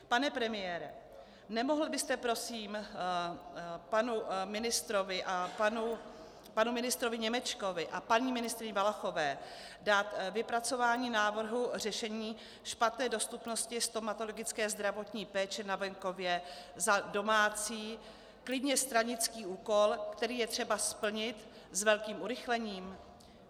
Pane premiére, nemohl byste prosím panu ministrovi Němečkovi a paní ministryni Valachové dát vypracování návrhu řešení špatné dostupnosti stomatologické zdravotní péče na venkově za domácí, klidně stranický úkol, který je třeba splnit s velkým urychlením?